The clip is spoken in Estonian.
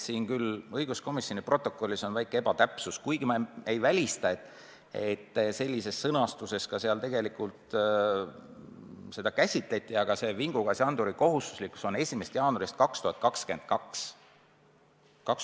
Õiguskomisjoni protokollis on väike ebatäpsus – ma küll ei välista, et sellises sõnastuses istungil seda tegelikult käsitleti –, vingugaasianduri kohustuslikkus hakkab kehtima 1. jaanuaril 2022.